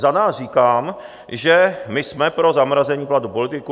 Za nás říkám, že my jsme pro zamrazení platu politiků.